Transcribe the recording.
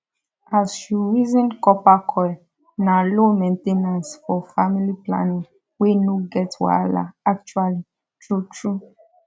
as u reason copper coil na low main ten ance for family planning wey no get wahala actually true true